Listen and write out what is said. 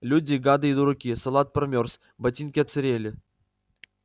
люди гады и дураки салат промёрз ботинки отсырели